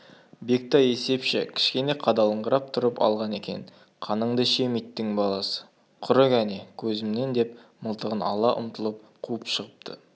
бектай есепші кішкене қадалыңқырап тұрып алған екен қаныңды ішем иттің баласы құры кәне көзімнен деп мылтыған ала ұмтылып қуып шығыпты